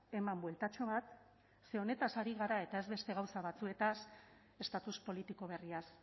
eman bueltatxo bat ze honetaz ari gara eta ez beste gauza batzuetaz estatus politiko berriaz